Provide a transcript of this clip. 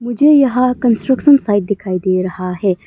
मुझे यहां construction site दिखाई दे रहा है।